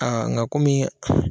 Aa nka kɔmi